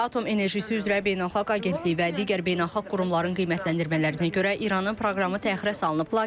Atom Enerjisi üzrə Beynəlxalq Agentliyi və digər beynəlxalq qurumların qiymətləndirmələrinə görə İranın proqramı təxirə salınıb.